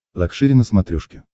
лакшери на смотрешке